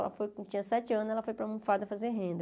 Ela foi quando ela tinha sete anos, ela foi para fazer renda.